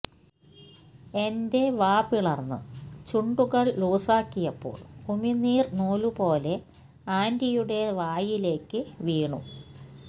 എന്റ്റെ വാ പിളർന്ന് ചുണ്ടുകൾ ലൂസാക്കിയപ്പോൾ ഉമി നീര് നൂലുപോലെ ആൻറ്റിയുടെ വായിലേക്ക് വീണു